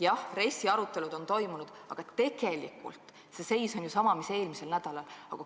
Jah, RES-i arutelud on toimunud, aga tegelikult seis on sama, mis eelmisel nädalal.